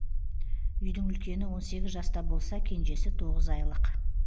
үйдің үлкені он сегіз жаста болса кенжесі тоғыз айлық